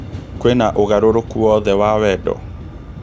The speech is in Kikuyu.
kwina ũgarũrũku owothe wa wendo